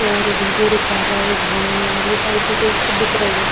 और video recorders हैं और ये सारी चीजें यहाँ पे बिक रही हैं।